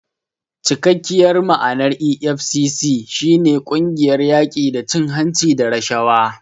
Cikakkiyar ma'anar EFCC shi ne "Ƙungiyar yaƙi da cin hanci da rashawa".